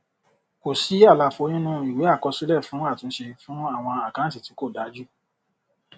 kò sí àlàfo nínú ìwé àkọsílẹ fún àtúnṣe fún àwọn àkáǹtì tí kò dájú